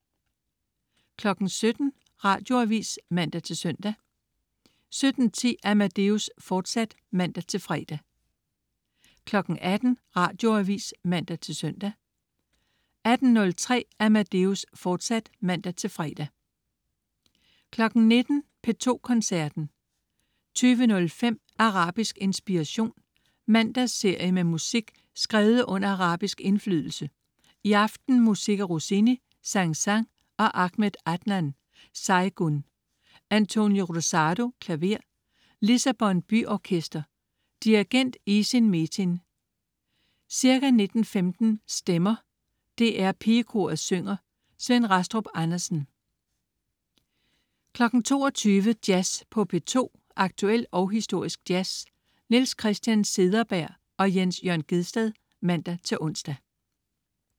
17.00 Radioavis (man-søn) 17.10 Amadeus, fortsat (man-fre) 18.00 Radioavis (man-søn) 18.03 Amadeus, fortsat (man-fre) 19.00 P2 Koncerten. 20.05 Arabisk inspiration. Mandagsserie med musik skrevet under arabisk indflydelse, i aften musik af Rossini, Saint-Saëns og Ahmed Adnan Saygun. António Rosado, klaver. Lissabon Byorkester. Dirigent: Isin Metin. Ca. 19.15 Stemmer. DR PigeKoret synger. Svend Rastrup Andersen 22.00 Jazz på P2. Aktuel og historisk jazz. Niels Christian Cederberg/Jens Jørn Gjedsted (man-ons)